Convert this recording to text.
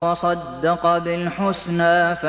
وَصَدَّقَ بِالْحُسْنَىٰ